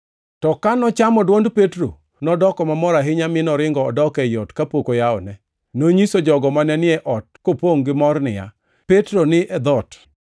To ka nochamo dwond Petro, nodoko mamor ahinya mi noringo odok ei ot kapok oyawone. Nonyiso jogo mane ni e ot kopongʼ gimor niya, “Petro ni e dhoot!”